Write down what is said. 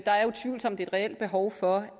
er utvivlsomt et reelt behov for